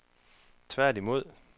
tværtimod